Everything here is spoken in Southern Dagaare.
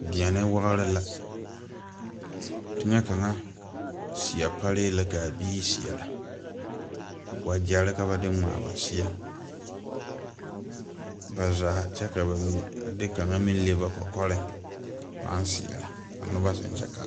Deɛne wagre la teŋɛ seɛ paree la kaa biire seɛrɛ wagyɛrre ka ba de ngmaa ba seɛ ba zaa kyɛ ka ba mine de kaŋa meŋ le ba kɔkɔreŋ paaŋ seɛrɛ ka nobɔ zeŋ kyɛ Kaa.